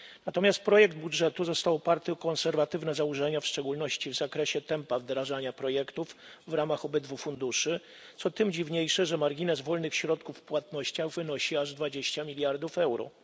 Natomiast projekt budżetu został oparty o konserwatywne założenia, w szczególności w zakresie tempa wdrażania projektów w ramach obydwu funduszy, co tym dziwniejsze, że margines wolnych środków w płatnościach wynosi aż 20 miliardów euro.